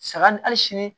Saga ni hali sini